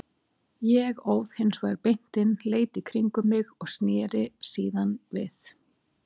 Ég óð hins vegar beint inn, leit í kringum mig og sneri síðan við.